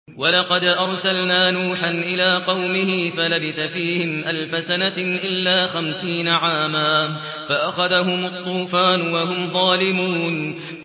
وَلَقَدْ أَرْسَلْنَا نُوحًا إِلَىٰ قَوْمِهِ فَلَبِثَ فِيهِمْ أَلْفَ سَنَةٍ إِلَّا خَمْسِينَ عَامًا فَأَخَذَهُمُ الطُّوفَانُ وَهُمْ ظَالِمُونَ